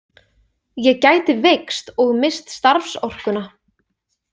Ég gæti veikst og misst starfsorkuna.